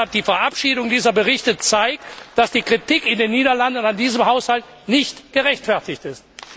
Deshalb Die Verabschiedung dieser Berichte zeigt, dass die Kritik in den Niederlanden an diesem Haushalt nicht gerechtfertigt ist.